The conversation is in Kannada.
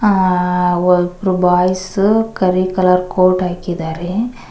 ಆ ಒಬ್ರು ಬಾಯ್ಸ್ ಕರಿ ಕಲರ್ ಕೋಟ್ ಹಾಕಿದಾರೆ.